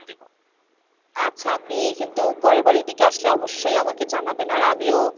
আচ্ছা আপনি কিন্তু পরেরবার এদিকে আসলে অবশ্যই আমাকে জানাবেন আর আমিও।